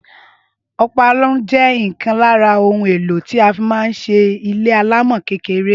Ọpaarun jé ìkan lára ohun èlò tí a fi man ṣe ilé alámò kékeré